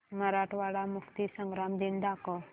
मराठवाडा मुक्तीसंग्राम दिन दाखव